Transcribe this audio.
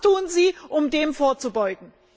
Was tun Sie, um dem vorzubeugen?